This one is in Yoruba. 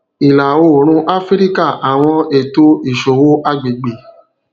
ilaoorun afirika awọn eto iṣowo agbegbe